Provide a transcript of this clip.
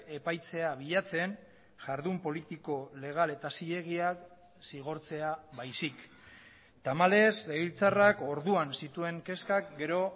epaitzea bilatzen jardun politiko legal eta zilegiak zigortzea baizik tamalez legebiltzarrak orduan zituen kezkak gero